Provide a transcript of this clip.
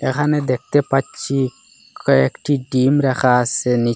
এখানে দেখতে পাচ্ছি কয়েকটি ডিম রাখা আছে নিচ--